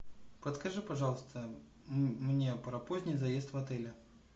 подскажи пожалуйста мне про поздний заезд в отеле